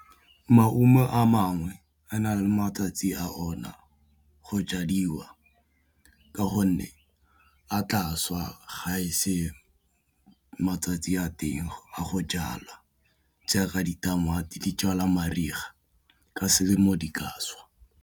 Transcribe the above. Maungo a mangwe a na le matsatsi a ona go jadiwa ka gonne a tla swa ga ese matsatsi a teng a go jalwa jaaka ditamati di jalwa mariga ka selemo di ka šwa.